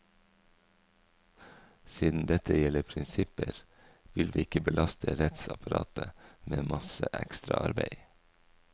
Siden dette gjelder prinsipper, vil vi ikke belaste rettsapparatet med masse ekstraarbeid.